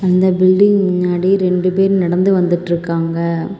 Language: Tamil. இந்த பில்டிங் முன்னாடி ரெண்டு பேர் நடந்து வந்திட்டிருக்காங்க.